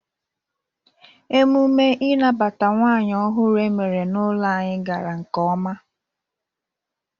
Emume ịnabata nwaanyị ọhụrụ emere na-ụlọ anyi gara nke ọma.